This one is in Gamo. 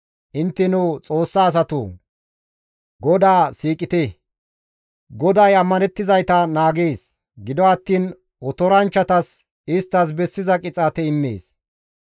Intteno Xoossa asatoo! GODAA siiqite. GODAY izan ammanettizayta naagees; gido attiin otoranchchatas isttas bessiza qixaate immees.